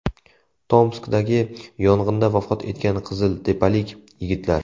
Tomskdagi yong‘inda vafot etgan qiziltepalik yigitlar.